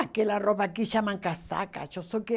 Aquela roupa aqui chama casaca.